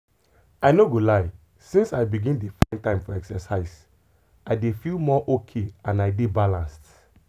i no go lie since i begin dey find time for exercise i dey feel more okay and i dey balanced.